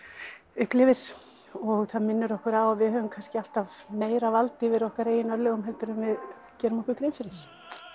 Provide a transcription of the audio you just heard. upplifir og það minnir okkur á að við höfum kannski alltaf meira vald yfir okkar eigin örlögum heldur en við gerum okkur grein fyrir